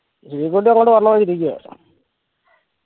കുട്ടി അങ്ങോട്ട് വരണംന്ന് പറഞ്ഞിരിക്ക